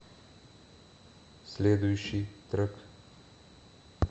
следующий трек